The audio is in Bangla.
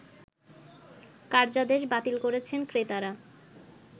কার্যাদেশ বাতিল করছেন ক্রেতারা